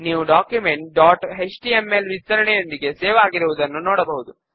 7 వ step styles ను apply చేయండి